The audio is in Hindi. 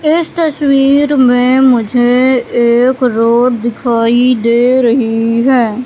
इस तस्वीर में मुझे एक रोड दिखाई दे रही हैं।